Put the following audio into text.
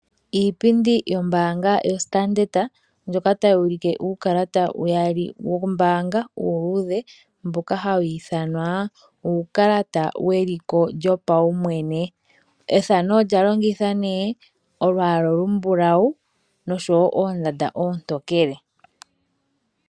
Iipindi yombaanga yaStandard ndjoka tayi ulike uukalata uyali wombaanga uuluudhe mboka hawu ithwanwa uukalata weliko lyopawumwene. Ethano olyalongitha olwaala olumbulawu nosho wo oondanda oontokele.